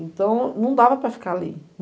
Então, não dava para ficar ali.